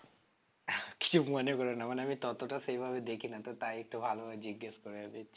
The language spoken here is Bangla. কিছু মনে করো না মানে আমি ততটা সে ভাবে দেখি না তো তাই একটু ভালো ভাবে জিজ্ঞেস করে নিচ্ছি